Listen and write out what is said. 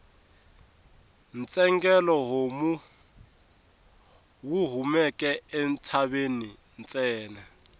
ntsengele homu wu kumeka entshaveni ntsena